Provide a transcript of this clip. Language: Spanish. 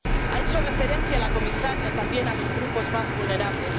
Ha hecho referencia la comisaria también a los grupos más vulnerables.